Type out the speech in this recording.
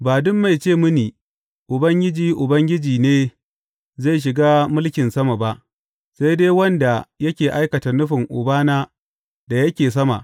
Ba duk mai ce mini, Ubangiji, Ubangiji,’ ne zai shiga mulkin sama ba, sai dai wanda yake aikata nufin Ubana da yake sama.